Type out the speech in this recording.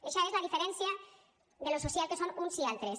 eixa és la diferència de lo social que són uns i altres